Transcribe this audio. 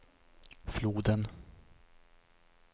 floden